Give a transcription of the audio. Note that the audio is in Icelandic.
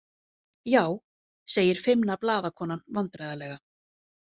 Já, segir feimna blaðakonan vandræðalega.